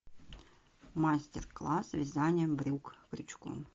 мастер класс вязания брюк крючком